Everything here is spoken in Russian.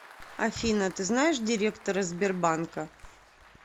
афина ты знаешь директора сбербанка